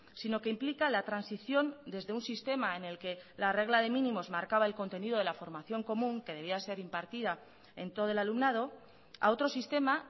sino que implica la transición desde un sistema en el que la regla de mínimos marcaba el contenido de la formación común que debía ser impartida en todo el alumnado a otro sistema